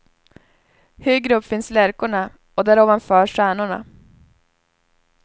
Högre upp finns lärkorna och där ovanför stjärnorna.